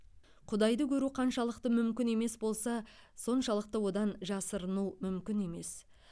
құдайды көру қаншалықты мүмкін емес болса соншалықты одан жасырыну мүмкін емес